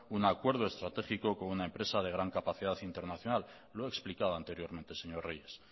un acuerdo estratégico con una empresa de gran capacidad internacional lo he explicado anteriormente señor reyes